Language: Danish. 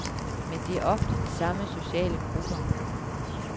Men det er ofte de samme sociale grupper.